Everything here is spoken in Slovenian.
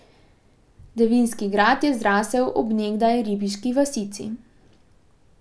Devinski grad je zrasel ob nekdaj ribiški vasici.